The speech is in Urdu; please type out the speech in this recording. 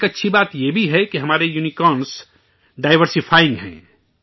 ایک اچھی بات یہ بھی ہے کہ ہمارے یونیکارن ڈائیورسی فائنگ ہیں